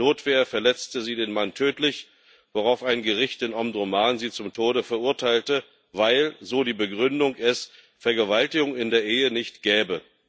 Aus Notwehr verletzte sie den Mann tödlich, worauf ein Gericht in Omdurman sie zum Tode verurteilte, weil so die Begründung es Vergewaltigung in der Ehe nicht gebe.